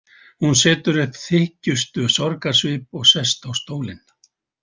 Hún setur upp þykjustusorgarsvip og sest á stólinn.